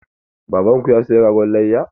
Baban ku ya saya ragon layya?